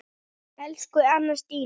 Elsku Anna Stína.